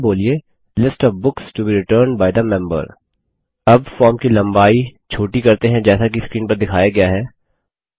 और इसको बोलिए list of books to be returned by the member अब फॉर्म की लम्बाई छोटी करते हैं जैसा कि स्क्रीन पर दिखाया गया है